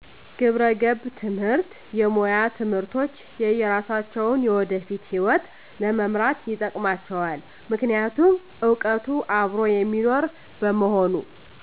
ግብረገብ ትምህርት የሙያ ትምህርቶች የሰራሳቸውን የወደፊት ሕይወት ለመምራት ይጠቅማቸዋል ምክንያቱም እውቀቱ አብሮ የሚኖር በመሆኑ